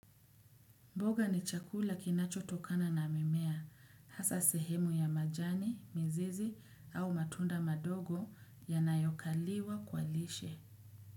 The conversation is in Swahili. Mboga ni chakula kinachotokana na mimea, hasa sehemu ya majani, mzizi au matunda madogo yanayokaliwa kwa lishe.